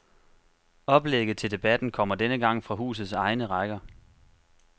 Oplægget til debatten kommer denne gang fra husets egne rækker.